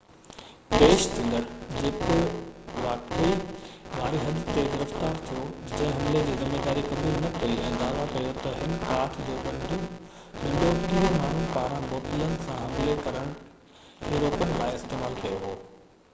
پيش ٿيندڙ، جيڪو واقعي واري حد تي گرفتار ٿيو، جنهن حملي جي ذميواري قبول نہ ڪئي ۽ دعويٰ ڪيو تہ هن ڪاٺ جو ڏنڊو ٽيهہ ماڻهن پاران بوتلن سان حملي کي روڪڻ لاءِ استعمال ڪيو هو